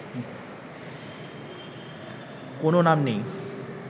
কোনও নাম নেই